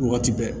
Waati bɛɛ